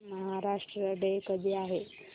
Maharashtra day कधी आहे